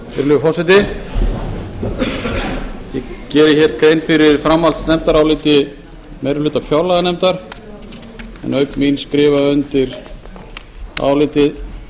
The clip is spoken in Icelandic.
virðulegur forseti ég geri hér grein fyrir framhaldsnefndaráliti meiri hluta fjárlaganefndar en auk mín skrifa undir álitið